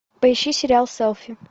поищи сериал селфи